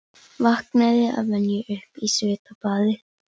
Rís þú, Íslands stóri, sterki stofn með nýjan frægðardag.